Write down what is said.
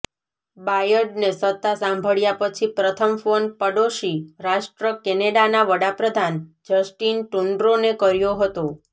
બાયડને સત્તા સંભાળ્યા પછી પ્રથમ ફોન પડોશી રાષ્ટ્ર કેનેડાના વડાપ્રધાન જસ્ટિન ટ્રુડોને કર્યો હતો